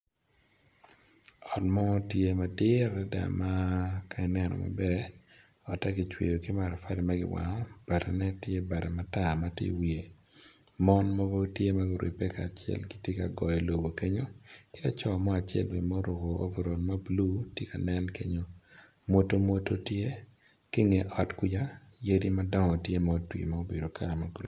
Ot mo tye madit adada ma kaineno maber otte kicweo kipatali magiwango bati ne tye bati matar matye i wiye mon mogo tye maguribe kacel gitye ka goyo lobo kenyo laco mo bene ma oruko overal mablue tye ka nen kenyo mwoto mwoto tye ki nge ot kuca yadi madongo tye ma otwi ma obedo kala ma green.